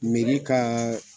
ka